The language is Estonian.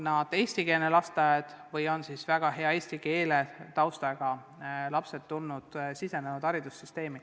Tegu on eestikeelsete lasteaedadega, kust väga hea eesti keele taustaga lapsed on sisenenud haridussüsteemi.